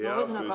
Hea küsija!